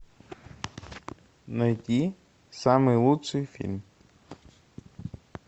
найти самый лучший фильм